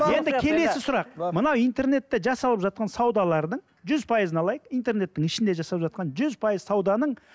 енд келесі сұрақ мынау интернетте жасалып жатқан саудалардың жүз пайызын алайық интернеттің ішінде жасап жатқан жүз пайыз сауданың